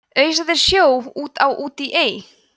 ausa þeir sjó út á út í ey